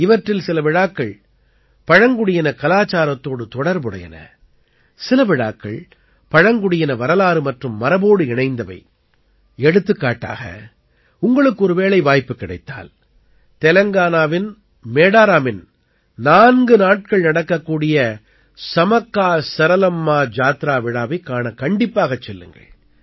இவற்றில் சில விழாக்கள் பழங்குடியினக் கலாச்சாரத்தோடு தொடர்புடையன சில விழாக்கள் பழங்குடியின வரலாறு மற்றும் மரபோடு இணைந்தவை எடுத்துக்காட்டாக உங்களுக்கு ஒருவேளை வாய்ப்பு கிடைத்தால் தெலங்கானாவின் மேடாரமின் 4 நாட்கள் நடக்கக்கூடிய சமக்காசரலம்மா ஜாத்ரா விழாவைக் காணக் கண்டிப்பாகச் செல்லுங்கள்